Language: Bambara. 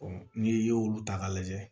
ni ye olu ta ka lajɛ